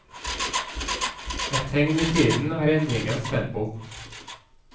Et tegn i tiden er endringens tempo.